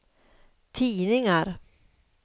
tidningar